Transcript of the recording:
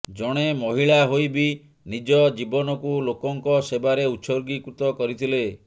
ଜଣେ ମହିଳା ହୋଇ ବି ନିଜ ଜୀବନକୁ ଲୋକଙ୍କ ସେବାରେ ଉତ୍ସର୍ଗୀକୃତ କରିଥିଲେ